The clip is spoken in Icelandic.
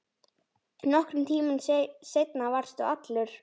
Nokkrum tímum seinna varstu allur.